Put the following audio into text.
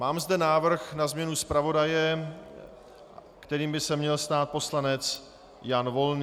Mám zde návrh na změnu zpravodaje, kterým by se měl stát poslanec Jan Volný.